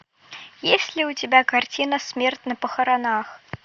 есть ли у тебя картина смерть на похоронах